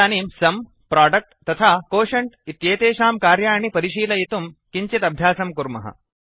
इदानीं sum product तथा quotient quotient एतेषां कार्याणि परिशीलयितुं किञ्चित् अभ्यासं कुर्मः